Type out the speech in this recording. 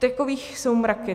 Takových jsou mraky.